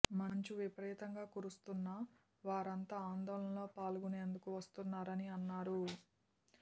మంచు విపరీతంగా కురుస్తున్నా వారంతా ఆందోళనల్లో పాల్గొనేందుకు వస్తున్నారని అన్నారు